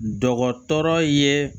Dɔgɔtɔrɔ ye